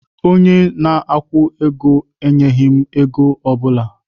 Onye na-akwụ ụgwọ enyeghị m ego ọ bụla.